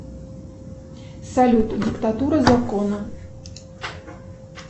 салют диктатура закона